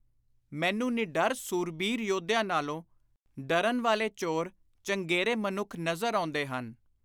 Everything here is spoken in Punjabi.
” ਮੈਨੂੰ ਨਿਡਰ ਸੂਰਬੀਰ ਯੋਧਿਆਂ ਨਾਲੋਂ ਡਰਨ ਵਾਲੇ ਚੋਰ ਚੰਗੇਰੇ ਮਨੁੱਖ ਨਜ਼ਰ ਆਉਂਦੇ ਹਨ।